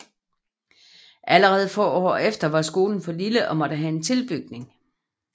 Allerede få år efter var skolen for lille og måtte have en tilbygning